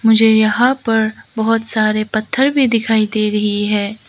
मुझे यहां पर बहुत सारे पत्थर भी दिखाई दे रही है।